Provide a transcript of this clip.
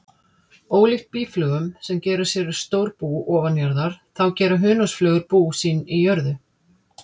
Ólíkt býflugum sem gera sér stór bú ofanjarðar, þá gera hunangsflugur bú sín í jörðu.